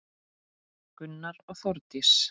Gunnar og Þórdís.